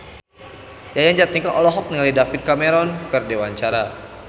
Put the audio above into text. Yayan Jatnika olohok ningali David Cameron keur diwawancara